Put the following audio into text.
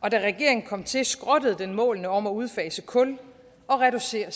og da regeringen kom til skrottede den målene om at udfase kul og reducere